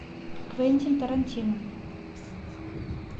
квентин тарантино